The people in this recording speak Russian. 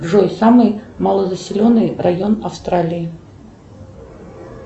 джой самый малонаселенный район австралии